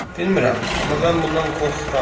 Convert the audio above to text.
Bilmirəm, amma mən bundan qorxuram.